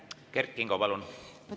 Kert Kingo, palun!